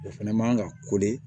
O fɛnɛ man ka